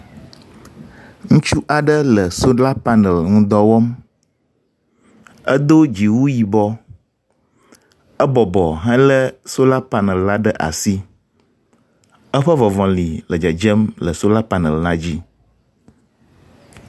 Ŋutsu aɖe le sola paneli ŋudɔ wɔm. Edo dziwu yibɔ. Ebɔbɔ helé sola paneli ɖe asi. Eƒe ŋɔ̃ŋɔ̃li le dzedzem le sola paneli la dzi